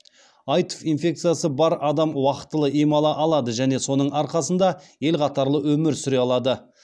аитв инфекциясы бар адам уақытылы ем ала алады және соның арқасында ел қатарлы өмір сүре алады